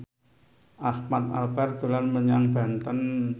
Ahmad Albar dolan menyang Banten